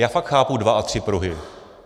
Já fakt chápu dva a tři pruhy.